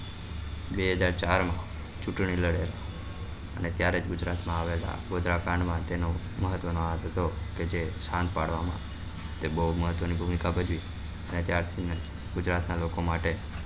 બે હજાર ચાર માં ચૂંટણી લડ્યા હતા અને ત્યારે જ ગુજરાત માં આવ્યા હતા ગોદ્ર્રા કાંડ માં તેનો મહત્વ નો હાથ હતો કકે જે સંત પાડવા માં ને બઉ મહત્વ ની ભૂમિકા ભજવી અને ત્યાર થી ગુજરાત નાં લોકો માટે